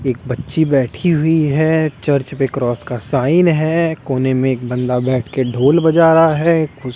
एक बच्ची बैठी हुई है चर्च पे क्रॉस का साइन है कोने में एक बंदा बैठ के ढोल बजा रहा है खुस --